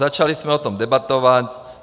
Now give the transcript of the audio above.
Začali jsme o tom debatovat.